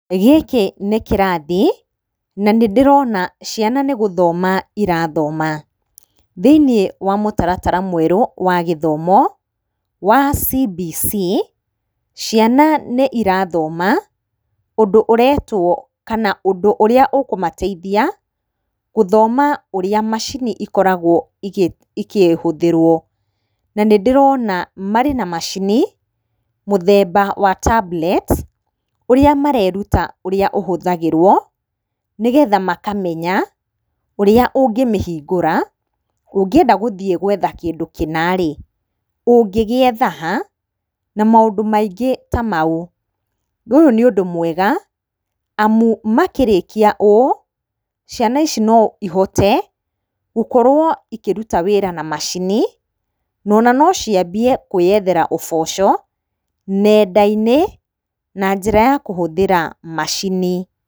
Gĩkĩ nĩ kĩrathi na nĩndĩrona ciana nĩgũthoma irathoma.Thĩinĩ wa mũtaratara mwerũ wa gĩthomo wa CBC ciana nĩirathoma ũndũ ũretwo kana ũndũ ũrĩa ũkũmateithia gũthoma ũrĩa macini ikoragwo ikĩhũthĩrwo. Na nĩndĩrona marĩ na macini mũthemba wa tablet ũrĩa mareruta ũrĩa ũhũthagĩrwo nĩgetha makamenya ũrĩa ũngĩmĩhingũra, ũngĩenda gũthiĩ gwetha kĩndũ kĩna rĩ ũngĩgĩetha ha? na maũndũ maingĩ ta mau. Ũyũ nĩ ũndũ mwega amu makĩrĩkia ũũ ciana ici no ihote gũkorwo ikĩruta wĩra na macini ona no ciambie kwĩyethera ũboco nenda-inĩ na njĩra ya kũhũthĩra macini.